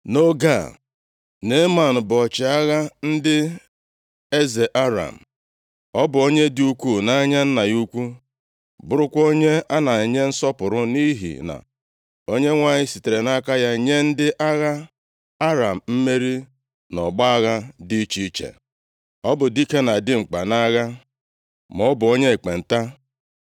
Nʼoge a, Neeman bụ ọchịagha ndị agha eze Aram, + 5:1 Aha eze a, bụ Ben-Hadad nke abụọ \+xt 2Ez 8:7\+xt* Ọ bụ onye dị ukwuu nʼanya nna ya ukwu, bụrụkwa onye a na-enye nsọpụrụ nʼihi na Onyenwe anyị sitere nʼaka ya nye ndị agha Aram mmeri nʼọgbọ agha dị iche iche. Ọ bụ dike na dimkpa nʼagha, maọbụ onye ekpenta.